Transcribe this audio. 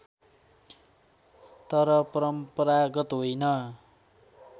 तर परम्परागत होइन